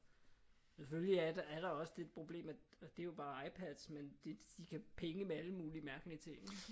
Selvfølgelig er der er der også lidt problemer og det er jo bare iPads men de kan pinge med alle mulige mærkelige ting ik?